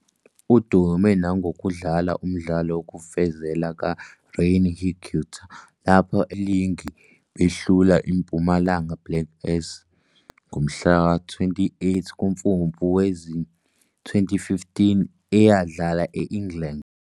Udume nangokudlala umdlalo wofezela kaRené Higuita lapho enqoba iligi behlula iMpumalanga Black Aces ngomhla-28 kuMfumfu wezi-2015, eyadlala e-England.